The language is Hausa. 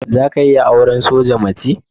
Za ka iya auran soja mace?